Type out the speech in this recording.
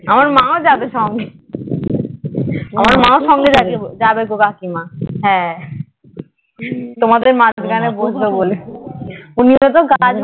আমার মাও যাবে সঙ্গে আমার মাও সঙ্গে যাবে কাকিমা হ্যাঁ তোমাদের মাঝখানে বসবে বলে উনিও তো গাছ